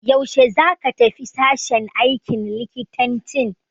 Yaushe za ka tafi sashen aikin likitanci?